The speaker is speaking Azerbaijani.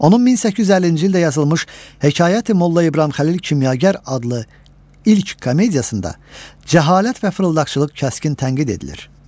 Onun 1850-ci ildə yazılmış Hekayəti Molla İbrahimxəlil Kimyagər adlı ilk komediyasında cəhalət və fırıldaqçılıq kəskin tənqid edilir.